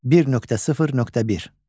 1.0.1.